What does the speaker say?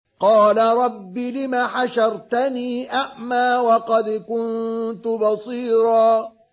قَالَ رَبِّ لِمَ حَشَرْتَنِي أَعْمَىٰ وَقَدْ كُنتُ بَصِيرًا